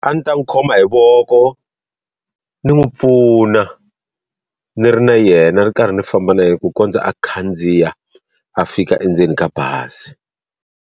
A ni ta n'wi khoma hi voko ni n'wi pfuna ni ri na yena ni ri karhi ni famba na hi ku kondza a khandziya a fika endzeni ka bazi.